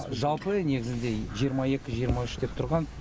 жалпы негізінде жиырма екі жиырма үш деп тұрған